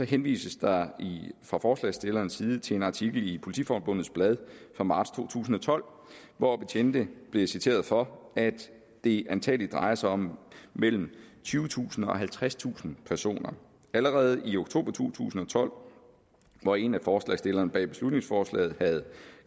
henvises der fra forslagsstillernes side til en artikel i politiforbundets blad fra marts to tusind og tolv hvor betjente blev citeret for at det antagelig drejer sig om mellem tyvetusind og halvtredstusind personer allerede i oktober to tusind og tolv hvor en af forslagsstillerne bag beslutningsforslaget havde